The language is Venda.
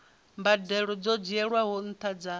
mbadelo dzo dzhielwaho nṱha dza